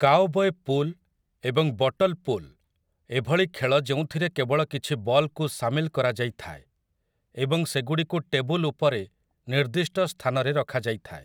Cowboy pool ଏବଂ bottle pool ଏଭଳି ଖେଳ ଯେଉଁଥିରେ କେବଳ କିଛି ବଲ୍‌କୁ ସାମିଲ କରାଯାଇଥାଏ ଏବଂ ସେଗୁଡ଼ିକୁ ଟେବୁଲ ଉପରେ ନିର୍ଦ୍ଦିଷ୍ଟ ସ୍ଥାନରେ ରଖାଯାଇଥାଏ ।